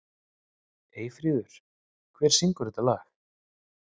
Eyfríður, hver syngur þetta lag?